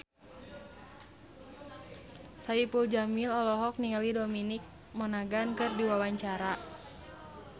Saipul Jamil olohok ningali Dominic Monaghan keur diwawancara